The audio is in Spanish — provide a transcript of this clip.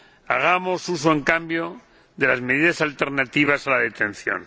Hagamos uso, en cambio, de las medidas alternativas a la detención.